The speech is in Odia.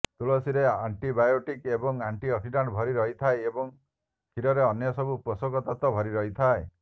ତୁଳସୀରେ ଆଣ୍ଟିବାୟୋଟିକ୍ ଏବଂ ଆଣ୍ଟିଅକ୍ସିଡାଣ୍ଟ ଭରି ରହିଥାଏ ଏବଂ କ୍ଷୀରରେ ଅନ୍ୟସବୁ ପୋଷକ ତତ୍ୱ ଭରି ରହିଥାଏ